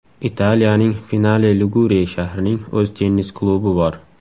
Italiyaning Finale-Ligure shahrining o‘z tennis klubi bor.